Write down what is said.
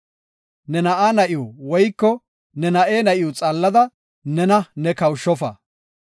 “Ne na7aa na7iw woyko ne na7e na7iw xaallada ne nena kawushofa.